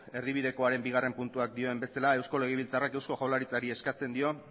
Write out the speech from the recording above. erdibidekoaren bigarren puntuak dioen bezala eusko legebiltzarrak eusko jaurlaritzari eskatzen dio